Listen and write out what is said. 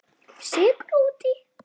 Sykur út í.